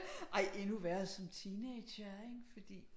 Ej endnu værre som teenagere fordi